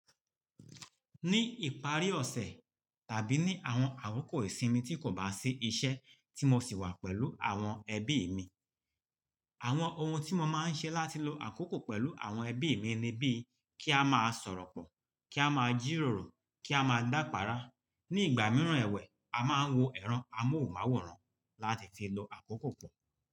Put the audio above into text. Ní ìparí ọ̀sẹ̀ tàbí ní àwọn àkókò ìsinmi tí kò bá sí iṣẹ́ tí mo sì wà pẹ̀lú àwọn ẹbí mi. Àwọn ohun tí mo máa ń ṣe láti lo àkókò pẹ̀lú àwọn ẹbí mi ni bí kí a máa sọ̀rọ̀ pọ̀, kí a máa jìrọ̀rọ̀, kí a máa dápará. Ní ìgbà mìíràn ẹ̀wẹ̀, a máa ń wo ẹ̀rọ amóhùnmáwòrán láti fi lọ àkókò pọ̀